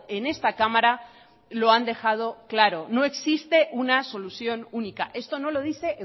en esta cámara lo han dejado claro no existe una solución única esto no lo dice